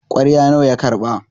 kwarya nawa ya karɓa?